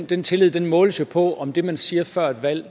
den tillid måles jo på om det man siger før et valg